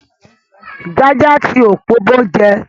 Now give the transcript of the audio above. Jaja ti Okpobo jẹ́